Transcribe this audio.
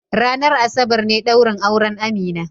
Ranar Asabar ne daurin auren Amina.